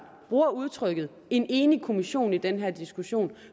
bruger udtrykket en enig kommission i den her diskussion